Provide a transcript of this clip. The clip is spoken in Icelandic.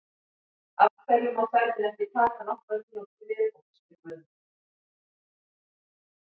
Af hverju má ferðin ekki taka nokkrar mínútur í viðbót? spyr Guðmundur.